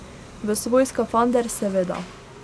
V svoj skafander, seveda.